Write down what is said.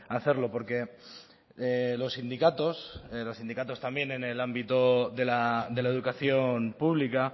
hacerlo porque los sindicatos los sindicatos también en el ámbito de la educación pública